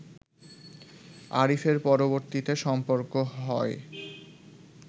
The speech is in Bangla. আরিফের পরবর্তীতে সম্পর্ক হয়